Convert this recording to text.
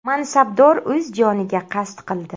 Mansabdor o‘z joniga qasd qildi.